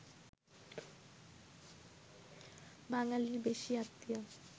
বাঙালির বেশি আত্মীয়